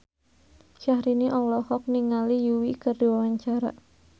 Syahrini olohok ningali Yui keur diwawancara